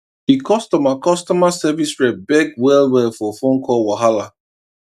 the customer customer service rep beg well well for phone call wahala